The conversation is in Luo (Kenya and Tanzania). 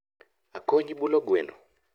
Akonyi bulo gweno?